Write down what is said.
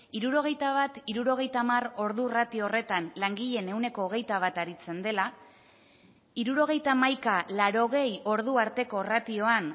hirurogeita bat hirurogeita hamar ordu ratio horretan langileen ehuneko hogeita bata aritzen dela hirurogeita hamaika laurogei ordu arteko ratioan